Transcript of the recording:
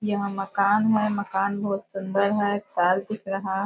यह मकान है मकान बहुत सुंदर है दिख रहा --